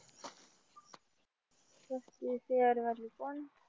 पस्तीस year वाली कोण?